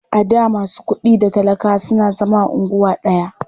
A da masu kuɗi da talakawa suna zama a unguwa ɗaya.